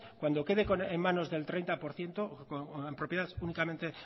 cuando quede en manos del treinta por ciento o en propiedades únicamente